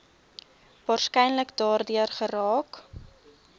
waarskynlik daardeur geraak